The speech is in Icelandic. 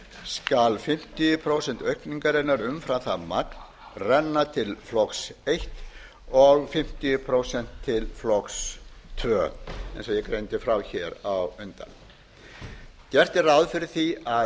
skal fimmtíu prósent aukningarinnar umfram það magn renna til flokks eins og fimmtíu prósent til flokks tvö eins og ég greindi frá á undan gert er ráð fyrir því að